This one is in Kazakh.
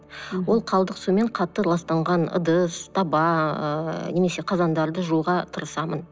ол қалдық сумен қатты ластанған ыдыс таба ыыы немесе қазандарды жууға тырысамын